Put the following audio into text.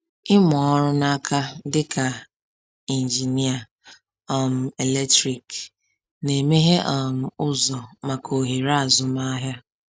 Ịmụ ọrụ n’aka dịka injinia um eletrik na-emeghe um ụzọ maka ohere azụmahịa.